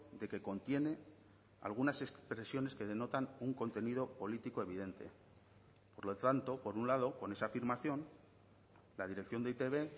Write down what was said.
de que contiene algunas expresiones que denotan un contenido político evidente por lo tanto por un lado con esa afirmación la dirección de e i te be